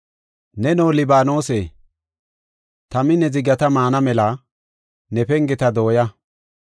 Neno, Libaanose, tami ne zigata maana mela, ne pengeta dooya!